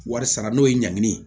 Wari sara n'o ye ɲangini ye